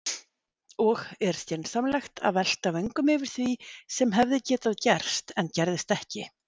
Og er skynsamlegt að velta vöngum yfir því sem hefði getað gerst en gerðist ekki?